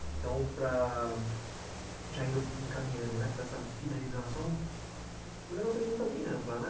Então, para já indo encaminhando né para essa finalização, primeiro uma pergunta bem ampla, né?